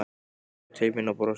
Leit svo til mín og brosti.